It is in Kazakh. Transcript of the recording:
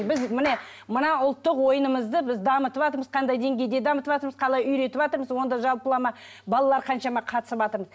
біз міне мына ұлттық ойынымызды біз дамытыватырмыз қандай деңгейде дамытыватырмыз қалай үйретіватырмыз онда жалпылама балалар қаншама қатысыватыр